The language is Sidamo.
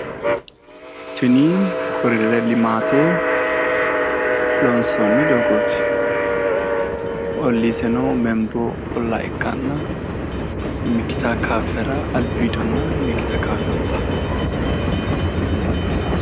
Tini koriderete limaate loonsoonni doogooti. Olliiseno membola ikkanna mikita kaaffera albiidonna mikita kaaffeeti.